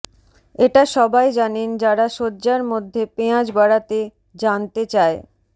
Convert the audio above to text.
এটা সবাই জানেন যারা শয্যার মধ্যে পেঁয়াজ বাড়াতে জানতে চায়